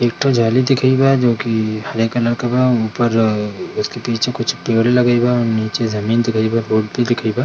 एकठो जाली दिखाइल बा हरे कलर का ऊपर उसके पीछे कुछ पेड़ लगेएल बा नीचे जमीन दिखेएल बा रोड भी दिखेएल बा ।